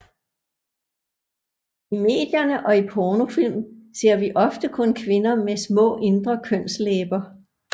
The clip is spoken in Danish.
I medierne og i pornofilm ser vi ofte kun kvinder med små indre kønslæber